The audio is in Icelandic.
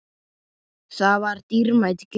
Það var dýrmæt gjöf.